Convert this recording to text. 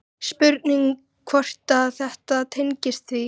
Spurning hvort að þetta tengist því?